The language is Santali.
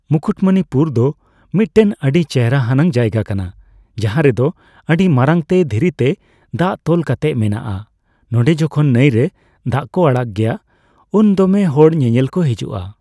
ᱢᱩᱠᱩᱴᱢᱩᱱᱤᱯᱩᱨ ᱫᱚ ᱢᱤᱫᱴᱮᱱ ᱟᱹᱰᱤ ᱪᱮᱦᱨᱟᱱᱟᱜ ᱡᱟᱭᱜᱟ ᱠᱟᱱᱟ ᱡᱟᱦᱟᱸ ᱨᱮᱫᱚ ᱟᱹᱰᱤ ᱢᱟᱨᱟᱝᱛᱮ ᱫᱷᱤᱨᱤᱛᱮ ᱫᱟᱜ ᱛᱚᱞ ᱠᱟᱛᱮᱫ ᱢᱮᱱᱟᱜᱼᱟ ᱱᱚᱰᱮ ᱡᱚᱠᱷᱚᱱ ᱱᱟᱹᱭᱨᱮ ᱫᱟᱜ ᱠᱚ ᱟᱲᱟᱜᱽ ᱜᱮᱭᱟ ᱩᱱ ᱫᱚᱢᱮ ᱦᱚᱲ ᱧᱮᱧᱮᱞ ᱠᱚ ᱦᱤᱡᱩᱜᱼᱟ ᱾